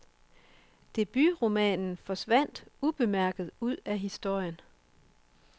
Debutromanen forsvandt ubemærket ud af historien.